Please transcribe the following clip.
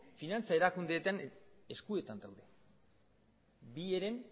finantza erakundeetan eskuetan dago bi heren